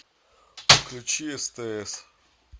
включи стс